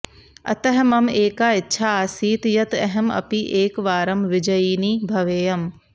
अतः मम एका इच्छा आसीत् यत् अहम् अपि एकवारं विजयिनी भवेयम्